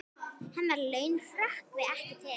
Hennar laun hrökkvi ekki til.